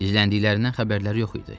İzləndiklərindən xəbərləri yox idi.